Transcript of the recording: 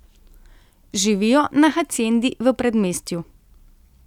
Živijo na haciendi v predmestju.